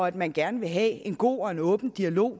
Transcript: at man gerne vil have en god og en åben dialog